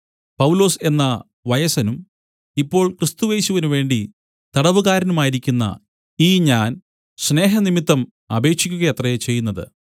പൗലൊസ് എന്ന വയസ്സനും ഇപ്പോൾ ക്രിസ്തുയേശുവിനുവേണ്ടി തടവുകാരനുമായിരിക്കുന്ന ഈ ഞാൻ സ്നേഹം നിമിത്തം അപേക്ഷിക്കുകയത്രേ ചെയ്യുന്നത്